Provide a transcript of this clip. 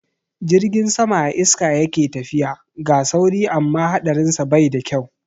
Jirgin sama a iska yake tafiya, ga sauri amma haɗarinsa bai da kyau.